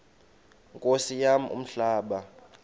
nkosi yam umhlaba